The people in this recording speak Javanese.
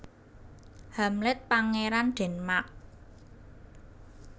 Hamlet Pangeran Denmark